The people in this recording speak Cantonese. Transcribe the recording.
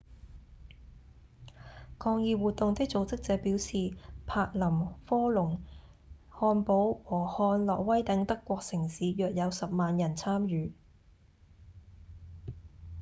抗議活動的組織者表示柏林、科隆、漢堡和漢諾威等德國城市約有10萬人參與